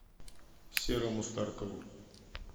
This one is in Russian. серому старкову